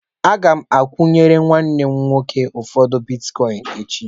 Aga m akwụnyere nwanne m nwoke ụfọdụ bitkọịn echi.